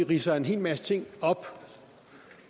ridser en hel masse ting op